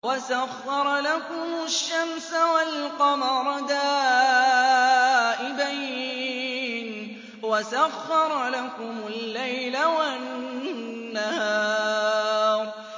وَسَخَّرَ لَكُمُ الشَّمْسَ وَالْقَمَرَ دَائِبَيْنِ ۖ وَسَخَّرَ لَكُمُ اللَّيْلَ وَالنَّهَارَ